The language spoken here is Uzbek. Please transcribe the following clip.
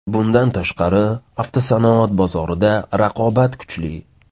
Bundan tashqari, avtosanoat bozorida raqobat kuchli.